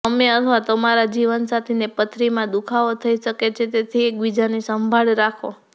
તમે અથવા તમારા જીવનસાથીને પથરીમાં દુખાવો થઈ શકે છે તેથી એકબીજાની સંભાળ રાખો